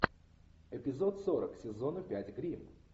эпизод сорок сезона пять гримм